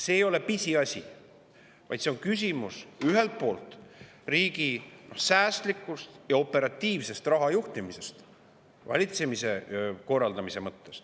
See ei ole pisiasi, vaid see on ühelt poolt küsimus riigi säästlikust ja operatiivsest raha juhtimisest valitsemise korraldamise mõttes.